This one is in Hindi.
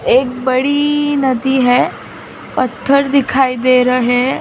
एक बड़ी नदी है पत्थर दिखाई दे रहे है।